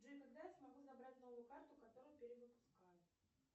джой когда я смогу забрать новую карту которую перевыпускают